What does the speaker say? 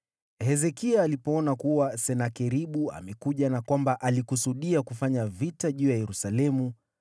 Hezekia alipoona kuwa Senakeribu amekuja na kwamba alikusudia kufanya vita juu ya Yerusalemu,